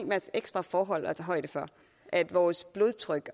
masse ekstra forhold at tage højde for at vores blodtryk